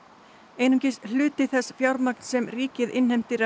einungis hluti þess fjármagns sem ríkið innheimtir af